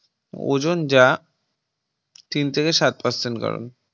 Ozone যা তিন থেকে সাত Percent কারণ